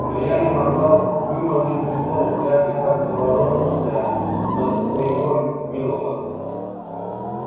но я не могла вымолвить ни слова глядя как заворожённая на своего милого